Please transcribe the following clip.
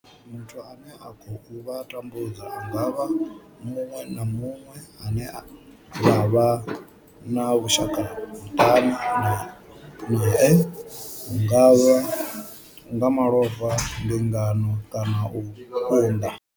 Muthu ane a khou vha tambudza a nga vha muṅwe na muṅwe ane vha vha na vhushaka muṱani nae hu nga vha nga malofha, mbingano kana u unḓa.